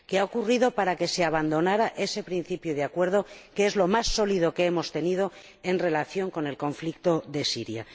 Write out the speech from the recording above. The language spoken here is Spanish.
¿Qué ha ocurrido para que se abandonara ese principio de acuerdo, que es lo más sólido que hemos tenido en relación con el conflicto de Siria?